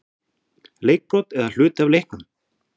Leikbrot eða hluti af leiknum???